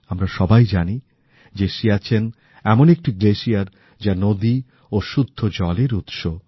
আমরা সবাই জানি যে সিয়াচেন এমন একটিহিমবাহ যা নদী ও শুদ্ধ জলের উৎস